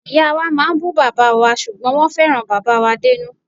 Ìyáa wa máa ń bù bàbáa wa ṣùgbọ́n wọ́n fẹ́ràn bàbáà wa dénú.